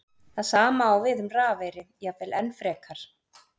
Það sama á við um rafeyri, jafnvel enn frekar.